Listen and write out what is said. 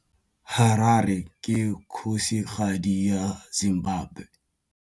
Harare ke kgosigadi ya Zimbabwe.